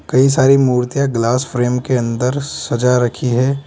कई सारी मूर्तियां ग्लास फ्रेम के अंदर सजा रखी है।